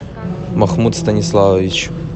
махмуд станиславович